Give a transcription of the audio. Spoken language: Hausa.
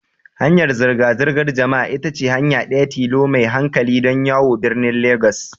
Hanyar zirga-zirgar jama'a ita ce hanya ɗaya tilo mai hankali don yawo birnin Legas.